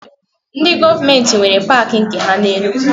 Ndị gọọmentị nwere paakị nke ha na Enugu